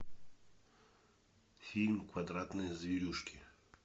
фильм квадратные зверюшки